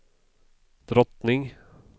drottning